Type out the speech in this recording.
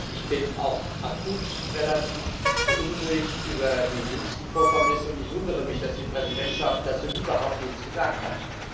Ich bin auch akut relativ beunruhigt über die jüngsten Vorkommnisse, und ich wundere mich, dass die Präsidentschaft dazu überhaupt nichts gesagt hat.